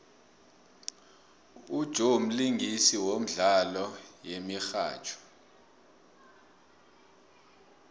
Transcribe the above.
ujoe mlingisi wemdlalo yemihatjho